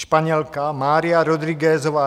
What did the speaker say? Španělka Mária Rodriguezová